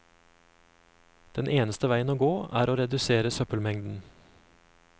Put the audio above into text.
Den eneste veien å gå er å redusere søppelmengden.